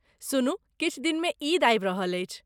सुनु, किछु दिनमे ईद आबि रहल अछि।